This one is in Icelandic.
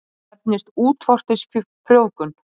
Það nefnist útvortis frjóvgun.